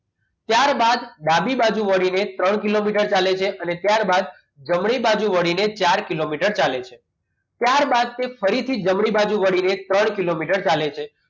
ત્યારબાદ ડાબી બાજુ વળીને ત્રણ કિલોમીટર ચાલે છે અને ત્યારબાદ જમણી બાજુ વળીને ચાર કિલોમીટર ચાલે છે ત્યારબાદ તે ફરીથી જમણી બાજુ વળીને ત્રણ કિલોમીટર ચાલે છે